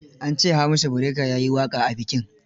An ce Hamisu Breaker ya yi waƙa a bikin?